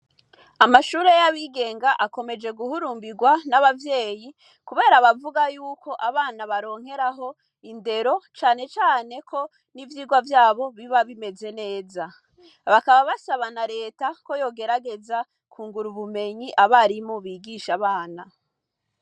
Amashure y'abigenga akomeje guhurumbirwa n'abavyeyi, kubera bavuga yuko abana baronkeraho indero canecaneko n'ivyirwa vyabo biba bimeze neza bakaba basabana leta ko yogerageza ku ngura bumenyi abarimo bigisha abana.